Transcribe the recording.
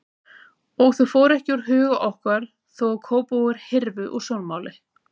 Og þau fóru ekki úr huga okkar þó að Kópavogur hyrfi úr sjónmáli.